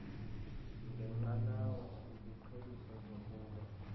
ngenqanawa iziqheliso zokulwa